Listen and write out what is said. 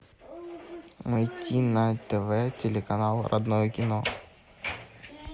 найти на тв телеканал родное кино